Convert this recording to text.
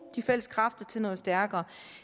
de fælles kræfter til noget stærkere